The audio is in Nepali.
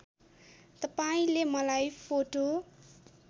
तपाईँले मलाई फोटो